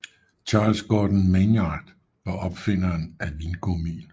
Charles Gordon Maynard var opfinderen af vingummien